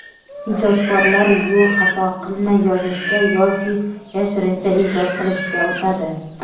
ijodkorlar yo‘ xato qilmay yozishga yoki yashirincha ijod qilishga o‘tadi.